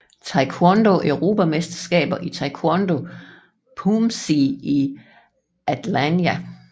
Taekwondo Europamesterskaber i Taekwondo Poomsae i Antalya